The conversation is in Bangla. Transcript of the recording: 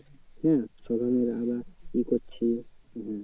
হ্যাঁ এ করছে